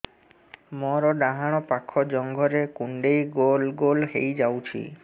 ମୋର ଡାହାଣ ପାଖ ଜଙ୍ଘରେ କୁଣ୍ଡେଇ ଗୋଲ ଗୋଲ ହେଇଯାଉଛି